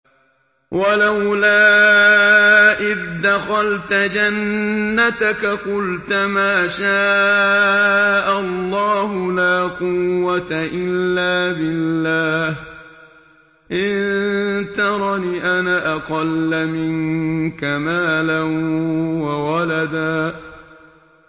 وَلَوْلَا إِذْ دَخَلْتَ جَنَّتَكَ قُلْتَ مَا شَاءَ اللَّهُ لَا قُوَّةَ إِلَّا بِاللَّهِ ۚ إِن تَرَنِ أَنَا أَقَلَّ مِنكَ مَالًا وَوَلَدًا